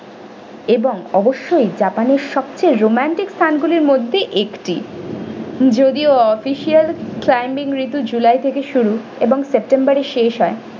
এবং অবশ্যই japan এর সব থেকে romantic স্থানগুলির মধ্যে একটি যদিও official climbing তো july থেকে শুরু এবং september এ শেষ হয়।